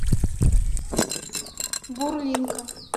бурлинка